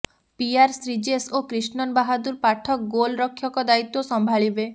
PR Sreejesh ଓ କ୍ରିଷ୍ଣନ୍ ବାହାଦୂର ପାଠକ ଗୋଲ୍ରକ୍ଷକ ଦାୟିତ୍ୱ ସମ୍ଭାଳିବେ